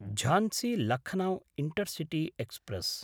Jhansi-Lucknow intercity express